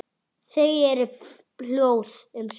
Þau eru hljóð um stund.